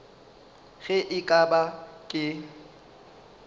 ge e ka ba ke